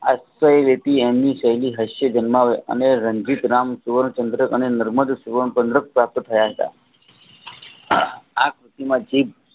અને રણજિતરામ સુવનચંદ્ર નર્મદ સુવર્ણ ચંદ્રક પાસે થયા હતા આ